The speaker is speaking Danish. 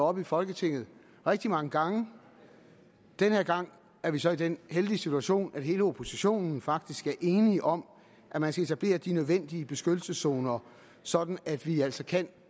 oppe i folketinget rigtig mange gange den her gang er vi så i den heldige situation at hele oppositionen faktisk er enig om at man skal etablere de nødvendige beskyttelseszoner sådan at vi altså kan